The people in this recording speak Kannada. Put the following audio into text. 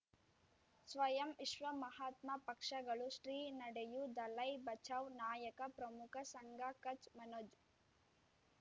ಸ್ವಯಂ ವಿಶ್ವ ಮಹಾತ್ಮ ಪಕ್ಷಗಳು ಶ್ರೀ ನಡೆಯೂ ದಲೈ ಬಚೌ ನಾಯಕ ಪ್ರಮುಖ ಸಂಘ ಕಚ್ ಮನೋಜ್